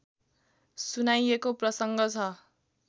सुनाइएको प्रसङ्ग छ